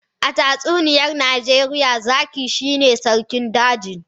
A tatsuniyar Najeriya, zaki shine sarkin dajin.